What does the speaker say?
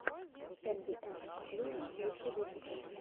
эмбиэнт оклужен лучший выпуск